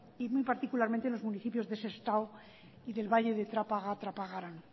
y muy particularmente en los municipios de sestao y del valle de trápaga trapagaran